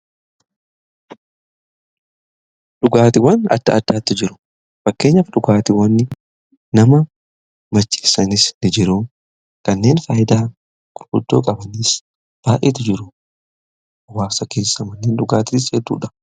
Dhugaatiiwwan adda addaatu jiru. Fakkeenyaaf dhugaatiiwwan nama macheessanis ni jiru kanneen faayidaa gurguddoo qabanis baay'eetu jiru. Hawaasa keessatti malleen dhugaatii jechuudha